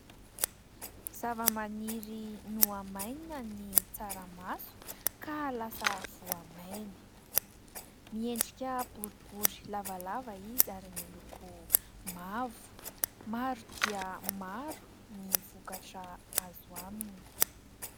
zava-maniry nohamainina ny tsaramaso ka lasa voamaina, miendrika boribory lavalava izy ary miloko mavo, maro dia maro ny vokatra azo aminy.